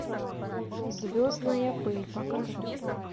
звездная пыль покажи